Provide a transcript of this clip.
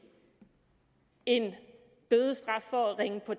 en bødestraf for at ringe på